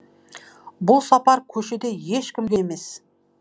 бұл сапар көшеде ешкімге емес